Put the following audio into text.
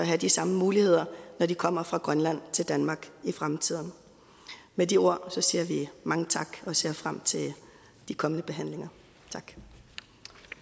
have de samme muligheder når de kommer fra grønland til danmark i fremtiden med de ord siger vi mange tak og ser frem til de kommende behandlinger